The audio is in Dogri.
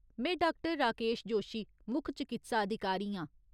में डाक्टर राकेश जोशी, मुक्ख चकित्सा अधिकारी आं।